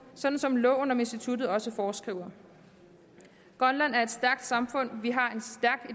sådan som loven om instituttet også foreskriver grønland er et stærkt samfund vi har